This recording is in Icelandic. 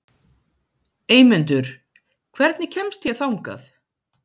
Eymundur, hvernig kemst ég þangað?